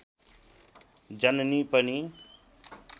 जननी पनि